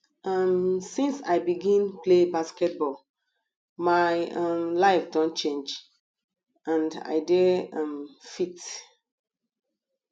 um since i begin play basketball my um life don change and i dey um fit